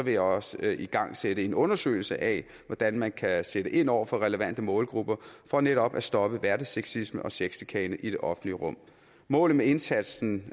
jeg også igangsætte en undersøgelse af hvordan man kan sætte ind over for relevante målgrupper for netop at stoppe hverdagssexisme og sexchikane i det offentlige rum målet med indsatsen